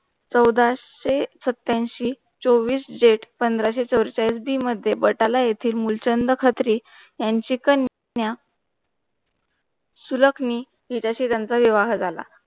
चौदाशे-सत्त्याऐंशी चोवीस जेट पंधरा से चौरेचाळीस बी मध्ये बटाला येतील मुलचंद खत्री यांची कन्या सुळकणी हिच्याशी त्यांचा विवाह झाला.